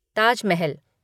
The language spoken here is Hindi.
ताज महल